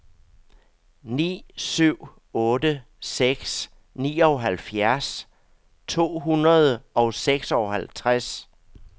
ni syv otte seks nioghalvfjerds to hundrede og seksoghalvtreds